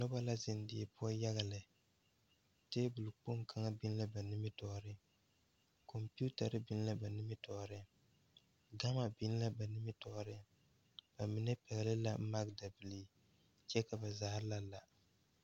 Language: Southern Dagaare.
Noba la zeŋ die poɔ yaga lɛ tabolkpoŋ kaŋ biŋ la ba nimitɔɔreŋ kɔmpetare biŋ la ba nimitɔɔreŋ gama biŋ la ba nimitɔɔreŋ ba mine pɛgle la magdabilii kyɛ ka ba zaa la la.